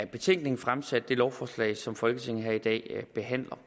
betænkningen fremsat det lovforslag som folketinget behandler